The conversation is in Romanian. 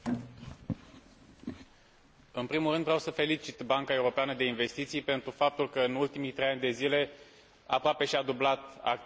În primul rând, vreau să felicit Banca Europeană de Investiții pentru faptul că în ultimii trei ani de zile aproape și a dublat activitatea și rezultatele financiare.